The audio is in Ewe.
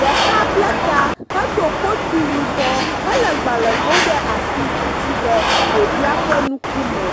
ɖeka ble ta hedó koti yibɔ hele gbalego ɖe asi titi ɖe ɖevia ƒe nukume